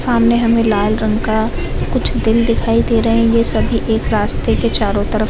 सामने हमे लाल रंग का कुछ दिल दिखाए दे रहे हैं ये सभी एक रस्ते के चारो तरफ --